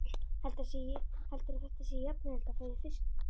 Heldurðu að þetta sé jafnauðvelt og að fara í fiskbúð?